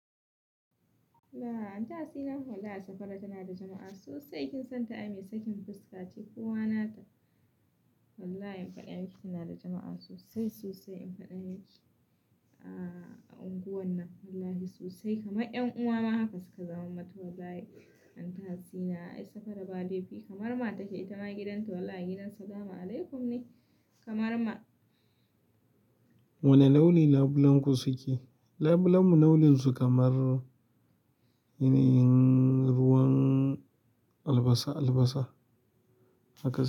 Laa, Anti hasina wallahi safara tana da jama'a sosai. Kin san ta ai mai sakin fuska, ce kowa nata. Wallahi in faɗa miki tana da jama'a sosai, sosai in faɗa miki. A unguwar nan wallahi sosai kamar 'yan uwa ma haka suka zama mata wallahi. Anti hasina ai safara ba laifi kamar ma take ita ma gidanta wallahi gidan salama alaikum ne kamar ma. Wane launi labulenku suke? Labulenmu launin su kamar yanayin ruwan albasa albasa haka suke.